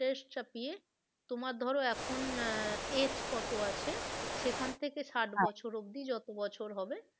Interest চাপিয়ে তোমার ধরো এখন আহ age কত আছে সেখান থেকে ষাট বছর অবধি যত বছর হবে,